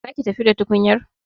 Za ki tafi da tukunyar?